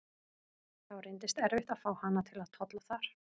Þá reynist erfitt að fá hana til að tolla þar.